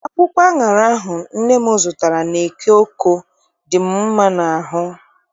Akwụkwọ aṅara ahụ nne m zụtara n'eke Oko dị m mma n'ahụ.